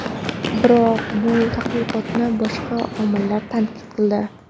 Biroq bu tadqiqotni boshqa olimlar tanqid qildi.